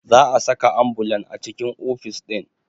Za a saka ambulan a cikin ofis ɗin